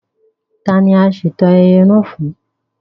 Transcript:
Tá ní a ṣeto ayẹyẹ naa fún?